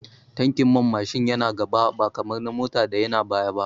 Tankin man Mashin yana gaba ba kamar na Mota da yana baya ba